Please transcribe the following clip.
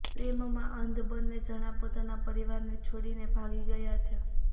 પ્રેમમાં અંધ બંને જણા પોતાના પરિવારને છોડીને ભાગી ગયા છે